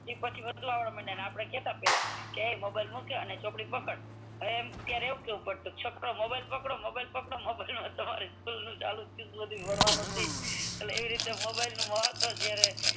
પછી વધુ વાપરવા માંડ્યા ને આપડે કેતા પેલા કે એએ મોબાઈલ મૂક ને ચોપડી પકડ અને અત્યાર એવું કેવું પડે છોકરો મોબાઈલ પકડો મોબાઈલ પકડ એમ ભણવાનું થયું એટલે ઈ રીતે મોબાઈલ નું મહત્વ થયું